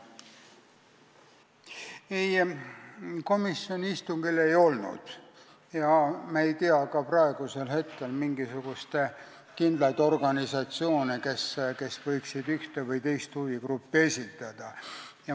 Ei, komisjoni istungil neid ei olnud ja me ei tea ka praegu mingisuguseid kindlaid organisatsioone, kes võiksid ühte või teist huvigruppi esindada.